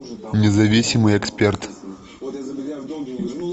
независимый эксперт